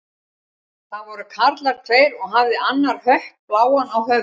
Það voru karlar tveir og hafði annar hött bláan á höfði.